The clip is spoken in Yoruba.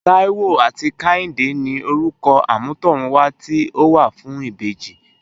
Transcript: Taiwo áti Kehinde ni Órukò ámùtòrún wá ti ó wá fùn ibéji